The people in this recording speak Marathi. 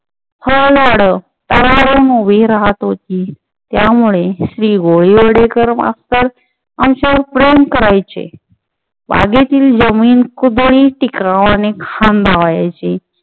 फळझाडं तरारून उभी राहत होती. त्यामुळे श्री. गोडीवडेकर मास्तर आमच्यावर प्रेम करायचे. बागेतील जमीन कुदळी टिकरवाने खांदवायची